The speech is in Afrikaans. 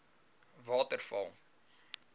waterval